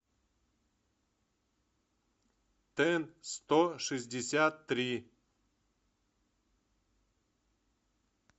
тэнстошестьдесяттри